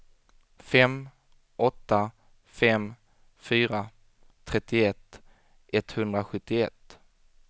fem åtta fem fyra trettioett etthundrasjuttioett